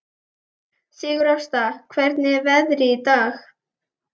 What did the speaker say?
Sigurásta, hvernig er veðrið í dag?